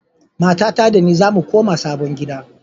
Matata da ni zamu koma sabon gida.